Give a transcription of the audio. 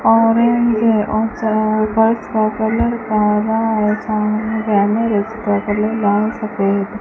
orange है और च पर्स का कलर काला है उसका कलर लाल सफेद --